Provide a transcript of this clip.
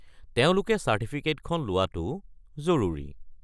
তেওঁলোকে চাৰ্টিফিকেটখন লোৱাটো জৰুৰী।